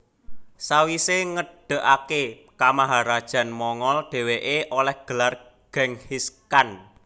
Sawisé ngedegaké kamaharajan Mongol dhèwèké olèh gelar Genghis Khan